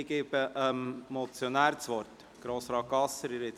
Ich gebe dem Motionär das Wort, Grossrat Gasser.